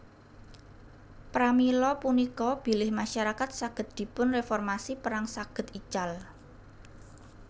Pramila punika bilih masyarakat saged dipun reformasi perang saged ical